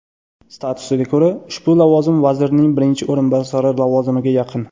Statusiga ko‘ra, ushbu lavozim vazirning birinchi o‘rinbosari lavozimiga yaqin.